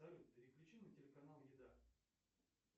салют переключи на телеканал еда